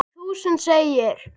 Um þúsund segir